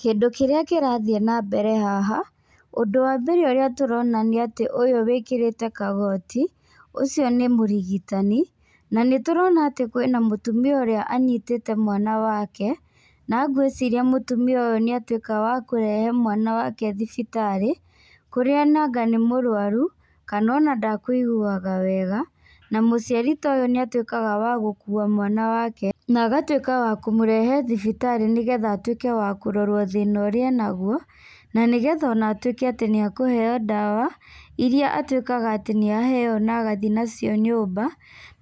Kĩndũ kĩrĩa kĩrathiĩ na mbere haha, ũndũ wa mbere ũrĩa tũrona nĩ atĩ ũyũ wĩkĩrĩte kagoti, ũcio nĩ mũrigitani. Na nĩtũrona atĩ kwĩna mũtumia ũrĩa anyitĩte mwana wake. Na ngwĩciria mũtumia ũyu nĩ atuĩka wa kũrehe mwana wake thibitarĩ, kũrĩa nonga nĩ mũrwaru kana ona ndekũiguaga wega. Na mũciari ta ũyũ nĩ atuĩkaga wa gũkua mwana wake na agatuĩka wa kũmũrehe thibitarĩ nĩgetha atuĩke wa kũrorwo thĩna ũrĩa enaguo. Na nĩgetha atuĩke atĩ nĩ ekũheo ndawa irĩa atuĩkaga atĩ nĩ aheo na agathiĩ nacio nyũmba,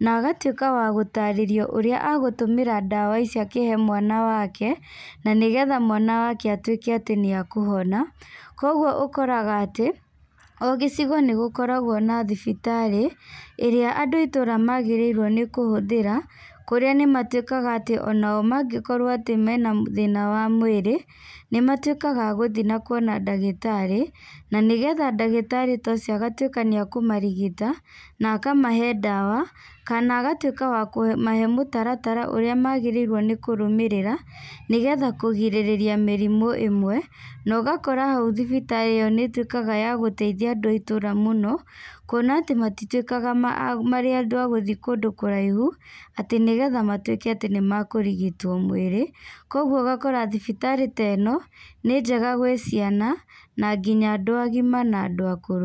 na agatuĩka wa gũtaarĩrio ũrĩa agũtũmĩra ndawa icio akĩhe mwana wake, na nĩgetha mwana wake atuĩke atĩ nĩ ekũhona. Kwoguo ũkoraga atĩ o gĩcigo nĩ gũkoragwo na thibitarĩ ĩrĩa andũ a itũũra maagĩrĩirwo nĩ kũhũthĩra. Kũrĩa nĩ matuĩkaga atĩ ona o mangĩkorwo atĩ mena thĩna wa mwĩrĩ. Nĩ matuĩkaga a gũthiĩ na kuona ndagĩtarĩ na nĩgetha ndagĩtarĩ ta ucio agatuĩka atĩ nĩ ekũmarigita na akamahe ndawa kana agatuĩka wa kũmahe mũtaratara ũrĩa maagĩrĩirwo nĩ kũrũmĩrĩra nĩgetha kũgĩrĩrĩria mĩrimũ ĩmwe. Na ũgakora hau thibitarĩ ĩyo nĩ ĩtuĩkaga ya gũteithia andũ itũũra mũno. Kuona atĩ matituĩkaga marĩ andũ a gũthiĩ kũndũ kũrahihu, atĩ nĩgetha matuĩke atĩ nĩ makũrigitwo mwĩrĩ. Kwoguo ũgakora atĩ thibitarĩ ta ĩno nĩ njega gwĩ ciana na nginya andũ agima na andũ akũrũ.